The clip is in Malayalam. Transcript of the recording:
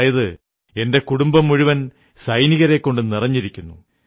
അതായത് എന്റെ കുടുംബം മുഴുവൻ സൈനികരെക്കൊണ്ടു നിറഞ്ഞിരിക്കുന്നു